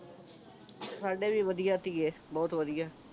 ਸਾਡੇ ਵੀ ਵਧੀਆ ਧੀਏ ਬਹੁਤ ਵਧੀਆ